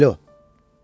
Alo!